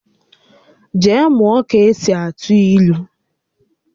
Jee mụọ ka-esi atụ ílú!